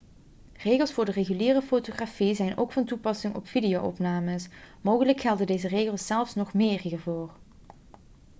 regels voor de reguliere fotografie zijn ook van toepassing op video-opnames mogelijk gelden deze regels zelfs nog meer hiervoor